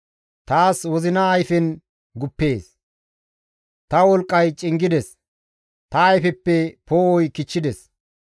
Taas wozina ayfen guppees; ta wolqqay cingides; ta ayfeppe poo7oy kichchides.